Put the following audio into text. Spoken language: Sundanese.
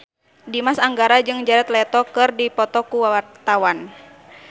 Dimas Anggara jeung Jared Leto keur dipoto ku wartawan